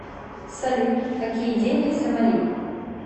салют какие деньги в сомали